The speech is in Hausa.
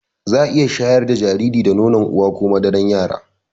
Zaa iya shayar da jariri da nono uwa or madarar yara